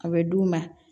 A bɛ d'u ma